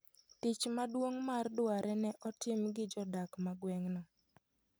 Tich maduong' mar dware ne otim gi jodak ma gweng'no.